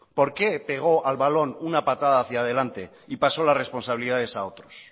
por qué pegó al balón una patada hacia adelante y pasó las responsabilidades a otros